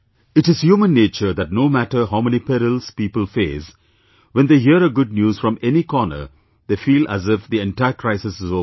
It is human nature that no matter how many perils people face, when they hear a good news from any corner, they feel as if the entire crisis is over